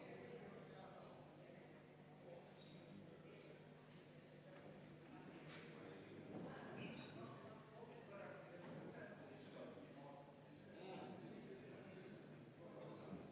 Me võime panna eelnõu hääletusele, aga siis me peame muudatusettepanekud kõik läbi hääletama enne, siis me jõuame eelnõuni ka.